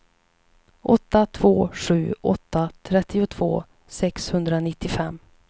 åtta två sju åtta trettiotvå sexhundranittiofem